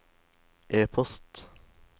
e-post